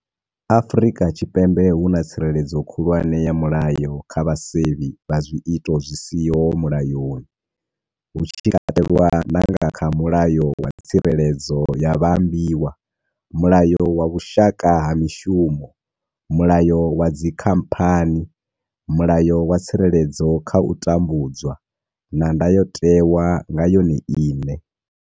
Afrika Tshipembe hu na tsireledzo khulwane ya mulayo kha vhasevhi vha zwiito zwi siho mulayoni, hu tshi katelwa na nga kha mulayo wa tsireledzo ya maambiwa, mulayo wa vhushaka ha mishumo, mulayo wa dzi khamphani, mulayo wa tsireledzo kha u tambudzwa, na ndayotewa nga yone ine.